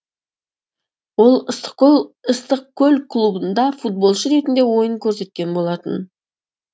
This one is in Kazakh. ол ыстықкөл клубында футболшы ретінде ойын көрсеткен болатын